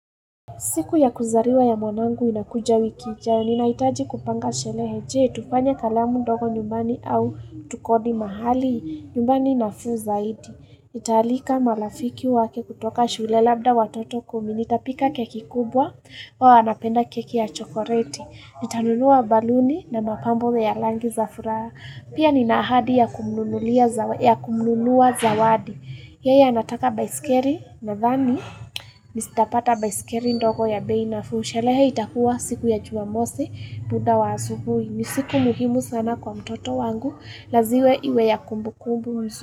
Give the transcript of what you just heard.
Siku ya kuzaliwa ya mwanangu inakuja wiki, ijayo ninaitaji kupanga shelehe je, tufanya kalamu ndogo nyumbani au tukodi mahali, nyumbani na fuu zaidi. Nitaalika marafiki wake kutoka shule labda watoto kumi, nitapika keki kubwa, wao wanapenda keki ya chokoreti, nitanunua baluni na mapambo ya langi za furaha, pia ni na ahadi ya kumnunulia zawa, ya kumnunua za wadi. Yeye anataka baiskeri na thani, nistapata baiskeri ndogo ya bei nafuu sherehe itakuwa siku ya jumamosi, muda wa asubui. Nisiku muhimu sana kwa mtoto wangu, laziwe iwe ya kumbu kumbu mzuu.